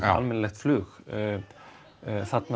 almennilegt flug þarna